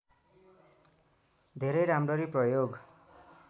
धेरै राम्ररी प्रयोग